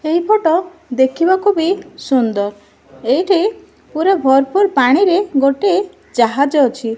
ଏଇ ଫୋଟୋ ଦେଖିବାକୁ ବି ସୁନ୍ଦର। ଏଇଠି ପୁରା ଭରପୂର ପାଣିରେ ଗୋଟେ ଜାହାଜ ଅଛି।